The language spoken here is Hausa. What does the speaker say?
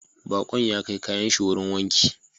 Bakon ya kai kayan shi wurin wanki